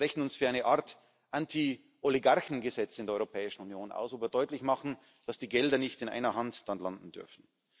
Wir sprechen uns für eine Art Anti Oligarchengesetz in der Europäischen Union aus, wo wir deutlich machen, dass die Gelder nicht in einer Hand dann landen dürfen.